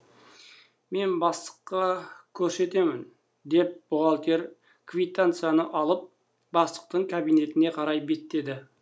мен бастыққа көрсетемін деп бухгалтер квитанцияны алып бастықтың кабинетіне қарай беттеді